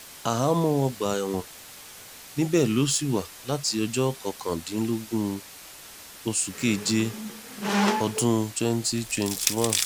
ahámọ́ ọgbà ẹ̀wọ̀n níbẹ̀ ló sì wà láti ọjọ́ kọkàndínlógún oṣù keje ọdún twenty twenty one